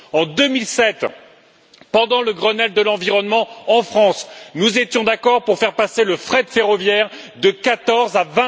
En 2007, pendant le Grenelle de l'environnement en France, nous étions d'accord pour faire passer le fret ferroviaire de 14 à